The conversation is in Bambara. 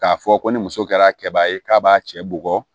K'a fɔ ko ni muso kɛra kɛba ye k'a b'a cɛ bugɔ